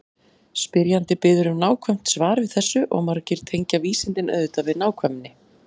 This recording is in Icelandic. Spyrjandi biður um nákvæmt svar við þessu og margir tengja vísindin auðvitað við nákvæmni.